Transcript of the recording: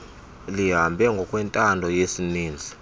lihambe ngokwentando yesininzi